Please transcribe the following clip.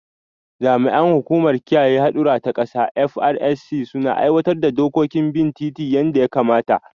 Jami’an hukumar kiyaye haɗɗura ta kasa (FRSC) suna aiwatar da dokokin bin titi yanda ya kamata